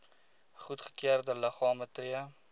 goedgekeurde liggame tree